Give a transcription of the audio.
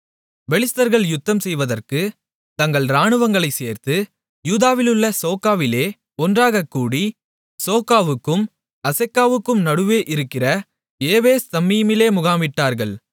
பெலிஸ்தர்கள் யுத்தம் செய்வதற்குத் தங்கள் இராணுவங்களைச் சேர்த்து யூதாவிலுள்ள சோக்கோவிலே ஒன்றாகக் கூடி சோக்கோவுக்கும் அசெக்காவுக்கும் நடுவே இருக்கிற எபேஸ்தம்மீமிலே முகாமிட்டார்கள்